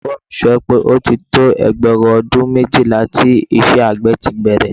Olùkọ́ mi sọ wípé, ó ti tó ẹgbẹ̀rún ọdún méjìlá tí iṣẹ́ àgbẹ̀ ti bẹ̀rẹ̀